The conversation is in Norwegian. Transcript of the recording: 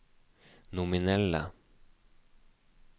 nominelle